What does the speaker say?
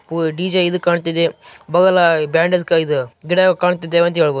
ಪೂ ಡಿಜೆ ಇದ್ ಕಾಣ್ತಿದೆ ಬಗಲ ಬ್ಯಾಂಡೆಜ್ಕಾಯ್ ದು ಗಿಡ ಕಾಣ್ತಿದೆ ಅಂತ ಏಳ್ಬಾದು.